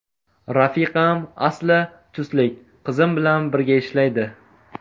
Rafiqam asli chustlik, qizim bilan birga ishlaydi.